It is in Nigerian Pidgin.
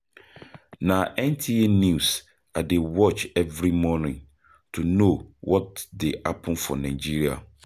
Na NTA news I dey watch every morning to know what dey happen for Nigeria.